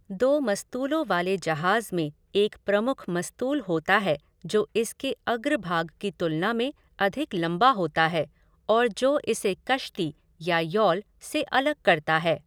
दो मस्तूलों वाले जहाज़ में एक प्रमुख मस्तूल होता है जो इसके अग्रभाग की तुलना में अधिक लंबा होता है और जो इसे कश्ती या यॉल से अलग करता है।